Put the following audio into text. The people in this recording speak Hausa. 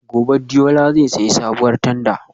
Gobe ​​Deola zai sayi sabuwar tanda